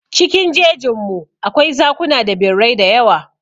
Cikin jejin mu, akwai zakuna da birrai dayawa.